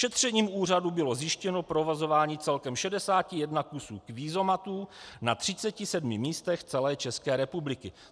Šetřením úřadu bylo zjištěno provozování celkem 61 kusů kvízomatů na 37 místech celé České republiky."